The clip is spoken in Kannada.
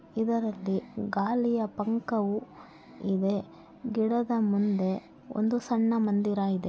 ಇದರಲ್ಲಿ ಗಾಳಿಯ ಪಂಕವು ಇದೆ ಗಿಡದ ಮುಂದೆ ಒಂದು ಸಣ್ಣ ಮಂದಿರ ಇದೆ.